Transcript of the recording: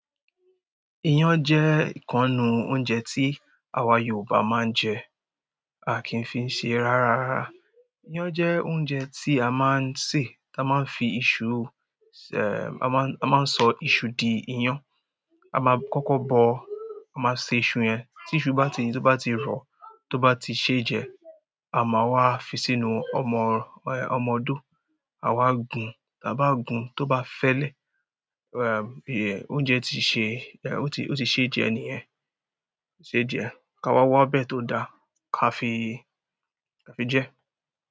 Iyán jẹ́ ìkan nínú oúnjẹ tí àwa Yorùbá máa ń jẹ. A kì í fi ń ṣẹ rárára. Iyán jẹ́ oúnjẹ tí a máa ń ṣe, tí a máa ń fi iṣu, eh, a máa ń, a máa ń sọ iṣu di iyán. A máa kọ́kọ́ bọ, a máa ṣe iṣu yẹn. Tí iṣu bá ti i, tí ó bá ti rọ, tó bá ti ṣé jẹ, a máa wá fi sínú ọmọ, ẹ, ọmọ odó. A máa n gùn, tí a bá gùn, tó bá fẹ́lẹ́, em eh, oúnjẹ ti ṣe, eh, ó ti, ó ti ṣe é jẹ níyẹn, ṣe é jẹ, ká wá wá ọbẹ̀ tó da ká fi, ká fi jẹ.